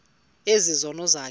ezi zono zakho